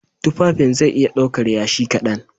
Tufafin zai iya ɗaukar Yashi kaɗan